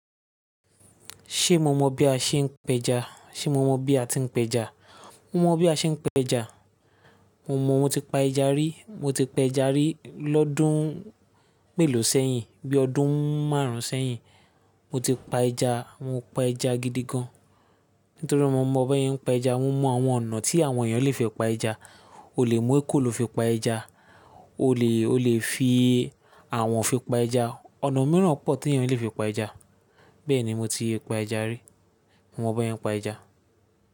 Ṣé mo mọ bí a ṣe ń pẹja? Ṣé mo mọ bí a ti ń pẹja? Mo mọ bí a ṣe ń péja. Mo mọ, mo ti pa ẹja rí. Mo ti pé ẹja rí lọ́dún mélòó sẹ́yìn, bí ọdún márùn-ún sẹ́yìn. Mo ti pa ẹja, mo pa ẹja gidi gan-an. Nítorí mo mọ bí wọ́n ń pa ẹja. Mo mọ àwọn ọ̀nà tí àwọn èèyàn lè fi pa ẹja. O lè mú ekòló fi pa ẹja, o lè, o lè fi àwọ̀n fi pa ẹja. Ọ̀nà mìíràn pọ̀ tí èèyàn lè fi pa ẹja. Bẹ́ẹ̀ ni mo ti pa ẹja rí. Mo mọ bí wọ́n ń pa ẹja.